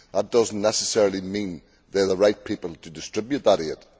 That does not necessarily mean they are the right people to distribute that aid.